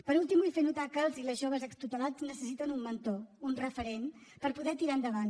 per últim vull fer notar que els i les joves extutelats necessiten un mentor un referent per poder tirar endavant